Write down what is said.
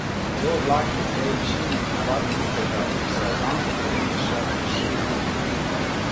Z oblaki na tej višini navadno ni težav, saj zanko potegneš šele na štiri tisoč.